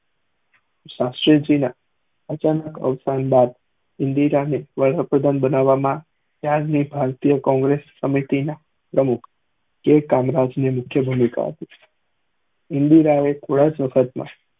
શાસ્ત્રી જી ના અચાનક અવશાન બાદ ઇન્દિરાને વડા પ્રધાન બનાવા માં ત્યાર ની ભારતીય કોંગ્રેસ કોમ્મીતી ના પ્રમુખ એ રાજ્ય ની મુખ્ય ભૂમિકા હતી ઇન્દિરા એ થોડાક સમય માં